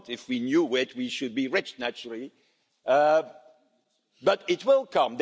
If we knew, we would be rich, of course, but it will come.